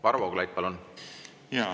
Varro Vooglaid, palun!